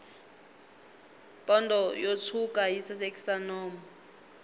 pondo yo tshwuka yi sasekisa nomu